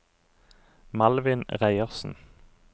Malvin Reiersen